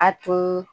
A tun